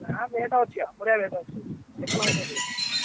ନା net ଅଛି ବା ବଢିଆ net ଅଛି ଏକ number ର net ।